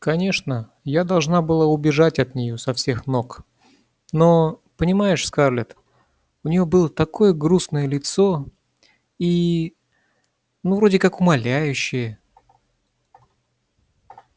конечно я должна была бы убежать от нее со всех ног но понимаешь скарлетт у нее было такое грустное лицо и ну вроде как умоляющее